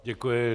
Děkuji.